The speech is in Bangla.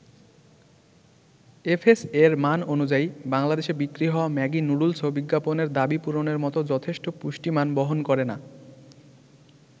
এফএসএ'র মান অনুযায়ী, বাংলাদেশে বিক্রি হওয়া ম্যাগি নুডুলসও বিজ্ঞাপনের দাবি পূরণের মতো যথেষ্ট পুষ্টিমান বহন করে না।